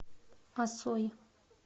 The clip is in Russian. осой